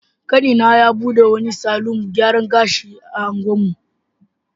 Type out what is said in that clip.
Kanina ya bude wani salon gyaran gashi a unguwarmu.